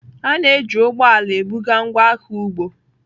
A na-eji ụgbọ ala ebuga ngwaahịa ugbo.